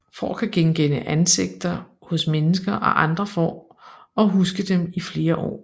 Får kan genkende ansigter hos mennesker og andre får og huske dem i flere år